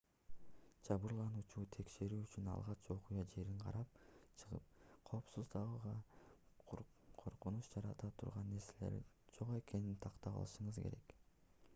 жабырлануучуну текшерүү үчүн алгач окуя жерин карап чыгып коопсуздугуңузга коркунуч жарата турган нерселер жок экенин тактап алышыңыз керек